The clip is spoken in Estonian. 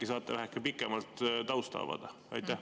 Äkki saate väheke pikemalt tausta avada?